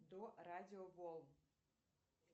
до радио волн